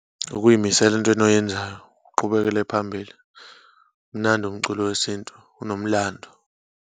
Ukuyimisela entweni oyenzayo, uqhubekele phambili. Umnandi umculo wesintu, unomlando.